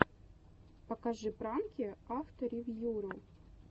покажи пранки авторевьюру